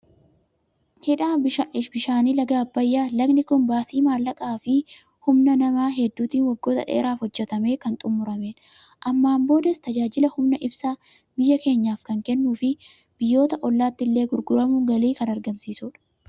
Hidha bishaanii laga Abbayyaa. Lagni kun baasii maallaqaa fi humna namaa hedduutiin waggoota dheeraaf hojjetamee kan xumuramedha. Ammaan boodas tajaajila humna ibsaa biyya keenyaaf kan kennuu fi biyyoota ollaatti illee gurguramuun galii kan argamsiisudha.